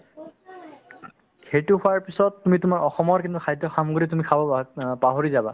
সেইটো খোৱাৰ পিছত তুমি তোমাৰ অসমৰ কিন্তু খাদ্য সামগ্ৰী তুমি খাব বাত অ পাহৰি যাবা